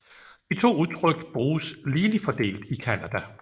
De to udtryk bruges ligeligt fordelt i Canada